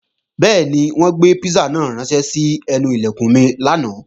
Bẹ́ẹ̀ni, wọ́n gbé písà náà ránṣẹ́ sẹ́nu Ilẹ̀kùn mi lánàá